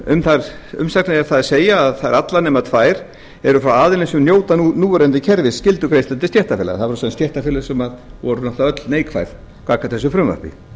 um þær umsagnir er það að segja að þær eru allar nema tvær frá aðilum sem njóta núverandi kerfis skyldugreiðslu til stéttarfélaga það voru sem sagt stéttarfélög sem voru náttúrlega öll neikvæð gagnvart þessu frumvarpi